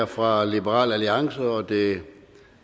fra liberal alliance og det